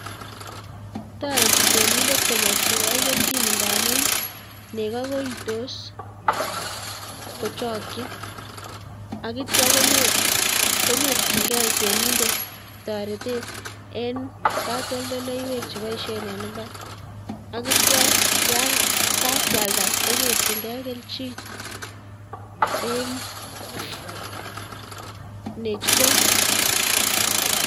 Toreti temindet konyorchike kelchin ng'amun nekoo koitos kochokyin akityo konyorching'e temindet toretet en katoldoleiwek chekiboishen en imbar akityo yaan kakwalda konyorching'e kelchin en bechutet.